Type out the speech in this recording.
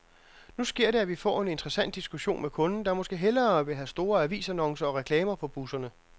Nu sker det, at vi får en interessant diskussion med kunden, der måske hellere vil have store avisannoncer og reklamer på busserne.